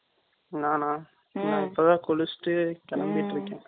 நானா? ம்ம். இப்பதான் குளிச்சிட்டு, கிளம்பிட்டு இருக்கேன்